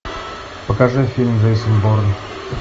покажи фильм джейсон борн